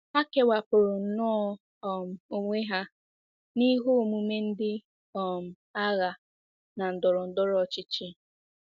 Ha kewapụrụ nnọọ um onwe ha n'ihe omume ndị um agha na ndọrọ ndọrọ ọchịchị.